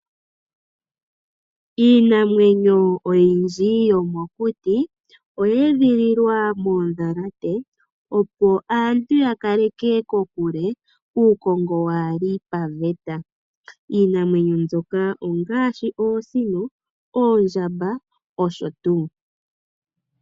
Iinamwenyo oyindji yo mokuti oye edhililwa moondhalate, opo aantu ya kaleke kokule uukongo waa li paveta. Iinamwenyo mbyoka , ongaashi oosino, oondjamba osho tuu.